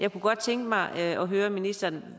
jeg kunne godt tænke mig at høre ministeren